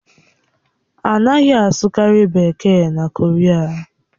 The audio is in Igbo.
A naghị asụkarị Bekee na Koria